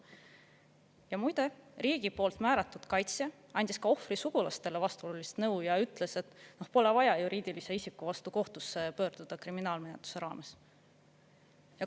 Ja muide, riigi poolt määratud kaitsja andis ka ohvri sugulastele vastuolulist nõu ja ütles, et pole vaja juriidilise isiku vastu kohtusse pöörduda kriminaalmenetluse raames.